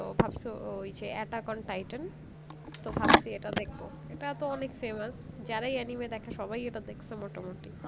তো ভাবছো ওই যে Attack on Titan তো ভাবছি এটা দেখবো এটা তো অনেক famous যারাই anime দেখে তারাই এটা দেখেছে মোটামোটি